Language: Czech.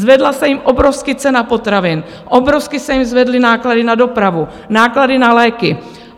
Zvedla se jim obrovsky cena potravin, obrovsky se jim zvedly náklady na dopravu, náklady na léky.